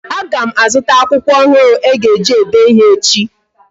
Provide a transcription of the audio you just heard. Aga m a zụta akwụkwọ ọhụrụ e ji ede ịhe echi